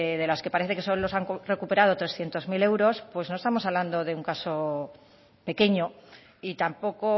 de las que parece que solo se han recuperado trescientos mil euros pues no estamos hablando de un caso pequeño y tampoco